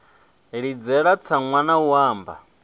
ḽidzela tsaṅwa na u anba